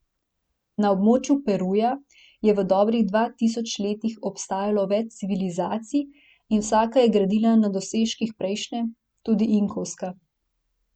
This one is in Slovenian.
Na območju Peruja je v dobrih dva tisočih letih obstajalo več civilizacij in vsaka je gradila na dosežkih prejšnje, tudi inkovska.